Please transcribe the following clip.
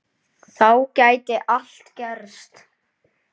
Þá gæti allt gerst.